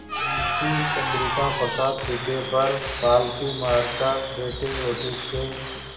मुंशी चंद्रिका प्रसाद पीढ़े पर पालथी मारकर बैठे रोटी के